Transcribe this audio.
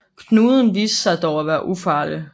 Knuden viste sig dog at være ufarlig